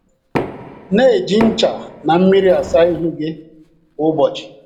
Na - eji ncha na mmiri asa ihu gị kwa ụbọchị